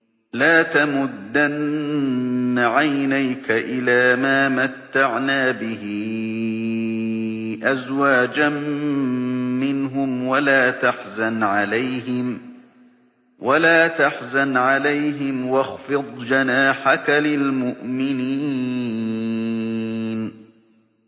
لَا تَمُدَّنَّ عَيْنَيْكَ إِلَىٰ مَا مَتَّعْنَا بِهِ أَزْوَاجًا مِّنْهُمْ وَلَا تَحْزَنْ عَلَيْهِمْ وَاخْفِضْ جَنَاحَكَ لِلْمُؤْمِنِينَ